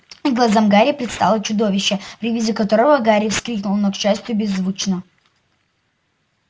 и глазам гарри предстало чудовище при виде которого гарри вскрикнул но к счастью беззвучно